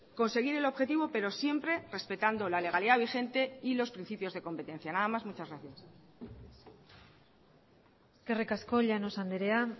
conseguir el objetivo pero siempre respetando la legalidad vigente y los principios de competencia nada más muchas gracias eskerrik asko llanos andrea